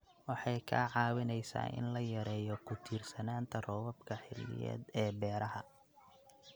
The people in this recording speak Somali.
Waxay kaa caawinaysaa in la yareeyo ku tiirsanaanta roobabka xilliyeed ee beeraha.